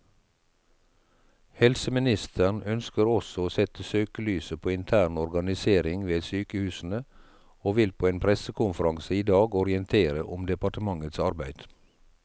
Helseministeren ønsker også å sette søkelyset på intern organisering ved sykehusene, og vil på en pressekonferanse i dag orientere om departementets arbeid.